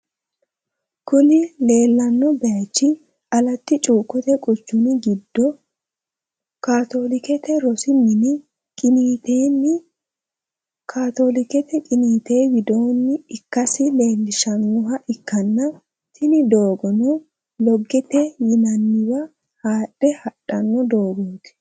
kuni lelano bayich alatti chukote quchumi gidio katolikete rosu mini qinitenni katolikete qinite widoni ikase lelishshanoha ikana tini dogono logete yinaniwa hadhe hadhano dogot